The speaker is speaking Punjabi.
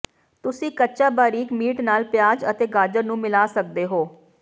ਤੁਸੀਂ ਕੱਚਾ ਬਾਰੀਕ ਮੀਟ ਨਾਲ ਪਿਆਜ਼ ਅਤੇ ਗਾਜਰ ਨੂੰ ਮਿਲਾ ਸਕਦੇ ਹੋ